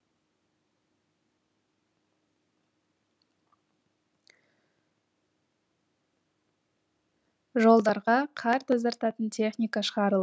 жолдарға қар тазартатын техника шығарылды